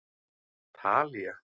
Talía